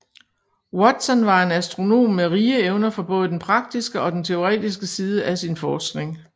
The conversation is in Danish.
Watson var en astronom med rige evner for både den praktiske og den teoretiske side af sin forskning